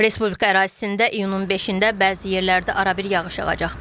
Respublika ərazisində iyunun 5-də bəzi yerlərdə arabir yağış yağacaq.